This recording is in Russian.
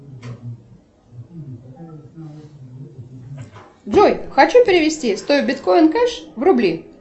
джой хочу перевести сто биткоин кэш в рубли